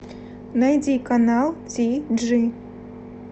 найди канал ти джи